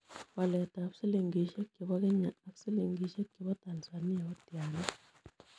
Waletab silingisiek chebo kenya ak silingisiek chebo tanzania kotiana